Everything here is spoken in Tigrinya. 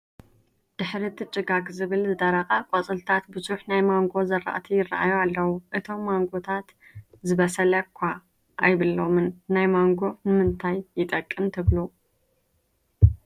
ድሕሪ እቲ ጭጋግ ዝመስል ዝደረቐ ቆፅልታት ብዙሕ ናይ ማንጎ ዝራእቲ ይረኣዩ ኣለው፡፡ እቶም ማንጎታት ዝበሰለ ኳ ኣይብሎምን፡፡ ናይ ማንጎ ንምንታይ ይጠቅም ትብሉ?